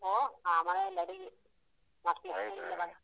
ಓ ಆ ಮನೆಯಲ್ಲಿ ಅಡಿಗೆ. ಮತ್ತೆ ಹೇಳಿ.